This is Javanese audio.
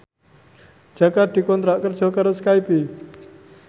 Jaka dikontrak kerja karo Skype